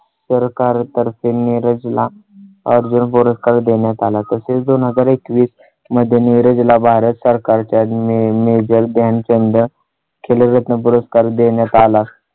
सरकार तर्फे नीरज ला अर्जुन पुरस्कार देण्यात आला. तसेच दोन हजार एकवीस मध्ये नीरज ला भारत सरकारच्या major ध्यानचंद खेलरत्न पुरस्कार देण्यात आला.